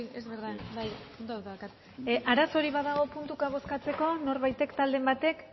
arazorik badago puntuka bozkatzeko norbaitek talderen batek